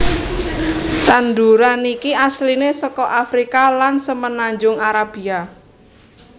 Tandhuran iki asline saka Afrika lan Semenanjung Arabia